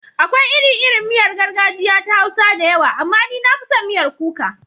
Akwai iri-irin miyar gargajiya ta Hausa da yawa, amma ni na fi son miyar kuka.